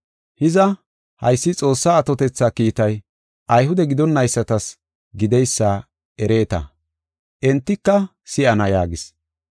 “Hiza, haysi Xoossaa atotetha kiitay Ayhude gidonaysatas gideysa ereeta. Entika si7ana” yaagis.